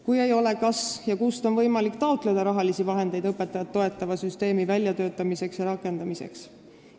Kui seda ei ole, siis kas ja kust on võimalik taotleda rahalisi vahendeid õpetajaid toetava süsteemi väljatöötamiseks ja rakendamiseks?